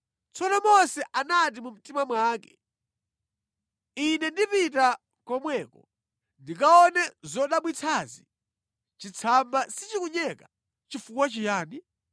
Tsono Mose anati mu mtima mwake, “Ine ndipita komweko ndikaone zodabwitsazi, chitsamba sichikunyeka chifukwa chiyani?”